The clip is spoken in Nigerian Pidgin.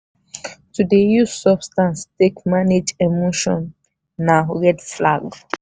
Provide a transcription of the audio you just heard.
to dey use substance take manage emotion na red flag.